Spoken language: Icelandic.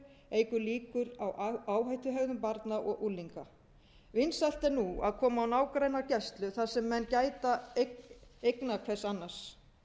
eykur líkur á áhættuhegðun barna og unglinga vinsælt er nú að koma á nágrannagæslu þar sem menn gæta eigna hvers annars